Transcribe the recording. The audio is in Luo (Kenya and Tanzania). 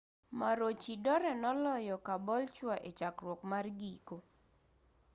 maroochydore noloyo caboolture echakruok mar giko